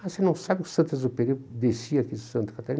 Você não sabe que o Saint-Exupéry descia aqui de Santa Catarina?